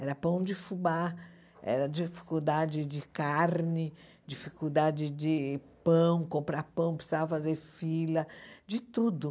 Era pão de fubá, era dificuldade de carne, dificuldade de pão, comprar pão, precisava fazer fila, de tudo.